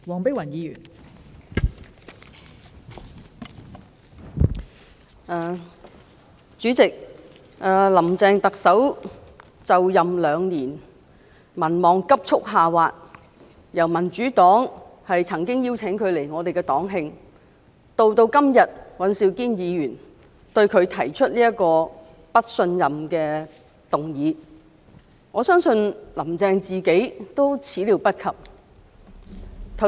代理主席，特首"林鄭"就任2年，民望急速下滑，從民主黨曾邀請她來我們的黨慶，及至今天尹兆堅議員對她提出"對行政長官投不信任票"的議案，我相信"林鄭"亦始料未及。